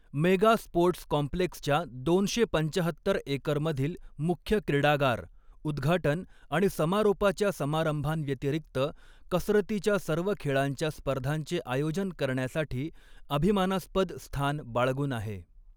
Mega sports कॉम्प्लेक्सच्या दोनशे पंचाहत्तर एकरमधील मुख्य क्रिडागार, उद्घाटन आणि समारोपाच्या समारंभांव्यतिरिक्त कसरतीच्या सर्व खेळांच्या स्पर्धांचे आयोजन करण्यासाठी, अभिमानास्पद स्थान बाळगून आहे.